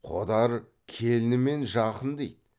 қодар келінімен жақын дейді